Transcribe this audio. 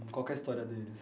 e qual que é a história deles?